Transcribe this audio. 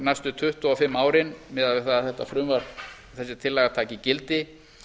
næstu tuttugu og fimm árin miðað við það að þessi tillaga taki gildi